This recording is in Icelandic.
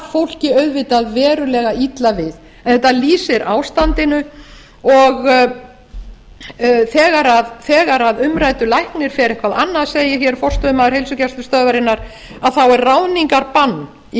fólki auðvitað verulega illa við en þetta lýsir ástandinu og þegar umræddur læknir fer eitthvað annað segir forstöðumaður heilsugæslustöðvarinnar þá er ráðningarbann í